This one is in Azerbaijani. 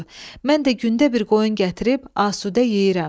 Mən də gündə bir qoyun gətirib asudə yeyirəm.